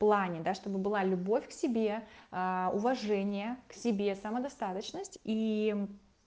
плане чтобы была любовь к себе уважение к себе самодостаточность и